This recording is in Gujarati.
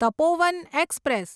તપોવન એક્સપ્રેસ